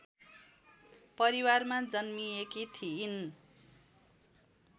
परिवारमा जन्मिएकी थिइन्